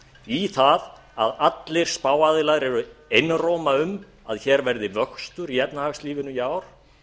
í það að allir spáaðilar eru einróma um að hér verði vöxtur í efnahagslífinu í ár